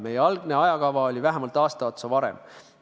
Meie algne ajakava nägi ette teha see vähemalt aasta varem.